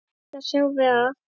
Reyndar sjáum við að